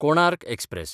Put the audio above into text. Konark express